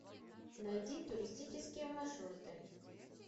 найди туристические маршруты